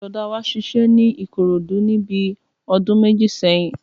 Bùrọ̀dá wa ṣiṣẹ́ ní Ìkòròdú níbi ọdún méjì sẹ́yìn